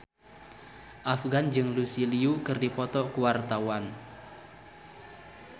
Afgan jeung Lucy Liu keur dipoto ku wartawan